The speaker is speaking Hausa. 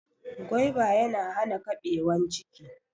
Gwaiba ya na hana ƙabewan ciki